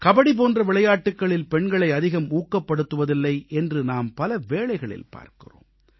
கபடி போன்ற விளையாட்டுக்களில் பெண்களை அதிகம் ஊக்கப்படுத்துவதில்லை என்று நாம் பலவேளைகளில் பார்க்கிறோம்